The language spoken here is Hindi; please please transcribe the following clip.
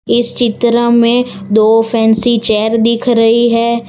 इस चित्र में दो फैंसी चेयर दिख रही है।